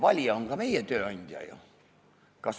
Valija on ju ka meie tööandja.